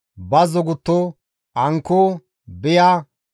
bazzo gutto, ankko, biya,